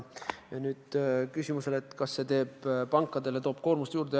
Küsimusele, kas see toob pankadele koormust juurde, vastan jaatavalt.